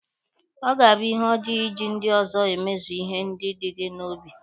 Ọ ga-abụ ihe ọjọọ iji ndị ọzọ emezu ihe dị gị n'obi.